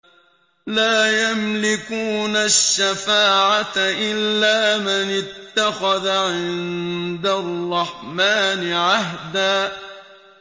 لَّا يَمْلِكُونَ الشَّفَاعَةَ إِلَّا مَنِ اتَّخَذَ عِندَ الرَّحْمَٰنِ عَهْدًا